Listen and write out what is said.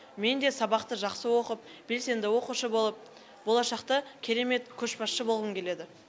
мен де сабақты жақсы оқып белсенді оқушы болып болашақта керемет көшбасшы болғым келеді